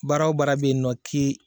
Baarabara bɛ ye nin nɔ k'e